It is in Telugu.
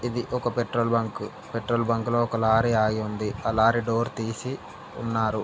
ఇది ఒక పెట్రోల్ బంక్ పెట్రోలుబంకులో ఒక లారీ ఆగి ఉంది ఆ లారీ డోర్ తీసి ఉన్నారు.